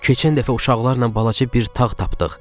Keçən dəfə uşaqlarla balaca bir tağ tapdıq.